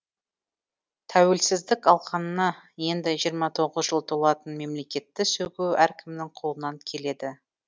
тәуелсіздік алғанына енді жиырма тоғыз жыл толатын мемлекетті сөгу әркімнің қолынан келеді